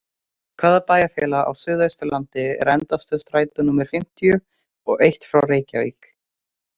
Hvaða bæjarfélag á suðausturlandi er endastöð strætó númer fimmtíu og eitt frá Reykjavík?